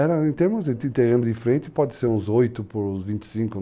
Era em termos de terreno de frente, pode ser uns oito por uns vinte e cinco.